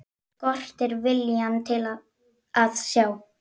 Skortir viljann til að sjá.